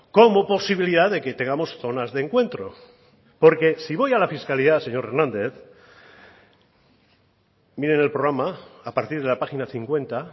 como posibilidad de que tengamos zonas de encuentro porque si voy a la fiscalidad señor hernández mire en el programa a partir de la página cincuenta